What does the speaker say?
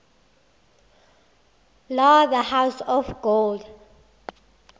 la the house of gold